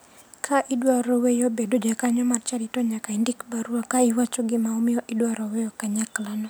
Ka idwaro weyo bedo jakanyo mar chadi to nyaka indik barua ka iwacho gima omoyo idwaro weyo kanyaklano.